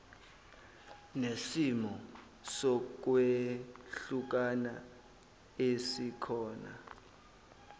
nesimo sokwehlukana esikhona